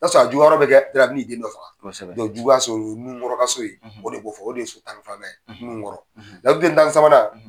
sɔrɔ juguya yɔrɔ bɛ kɛ a bɛ na i den dɔ faga o ye juguya so ye, o ye Nunkɔrɔ ka so ye, o de b'o fɔ, o de ye sitani faama ye, Nunkɔrɔ, laturu den tan ni sabanan.